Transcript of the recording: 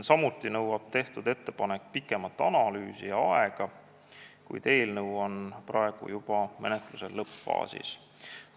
Samuti nõuab tehtud ettepanek pikemat analüüsiaega, kuid eelnõu on praegu juba menetluse lõppfaasis.